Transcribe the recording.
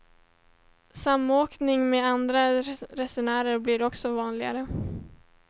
Samåkning med andra resenärer blir också vanligare.